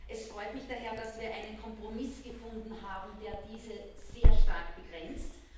Es freut mich daher, dass wir einen Kompromiss gefunden haben, der diese sehr stark begrenzt.